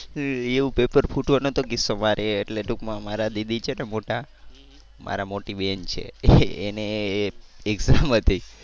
એવું પેપર ફૂટવાનો તો કિસ્સો મારે એટલે ટુંકમાં મારા દીદી છે ને મારી મોટી બેન છે એને exam હતી